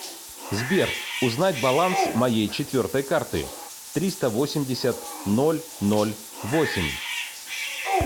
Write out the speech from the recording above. сбер узнать баланс моей четвертой карты триста восемьдесят ноль ноль восемь